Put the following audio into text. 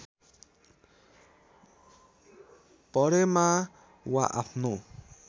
परेमा वा आफ्नो